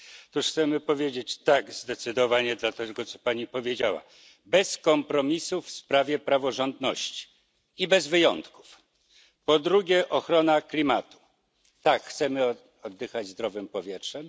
Tu chcemy zdecydowanie powiedzieć tak dla tego, co Pani powiedziała, bez kompromisu w sprawie praworządności i bez wyjątków. Po drugie ochrona klimatu. Tak, chcemy oddychać zdrowym powietrzem.